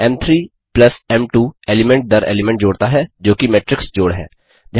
m3m2 element दर element जोड़ता है जोकि मेट्रिक्स जोड़ है